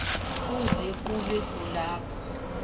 kuze kube kulapho